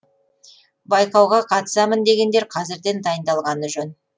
байқауға қатысамын дегендер қазірден дайындалғаны жөн